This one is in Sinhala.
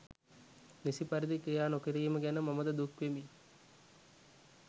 නිසි පරිදි ක්‍රියා නොකිරීම ගැන මමද දුක් වෙමි.